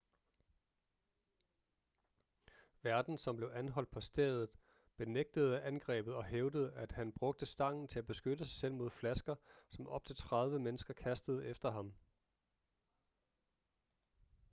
værten som blev anholdt på stedet benægtede angrebet og hævdede at han brugte stangen til at beskytte sig selv mod flasker som op til 30 mennesker kastede efter ham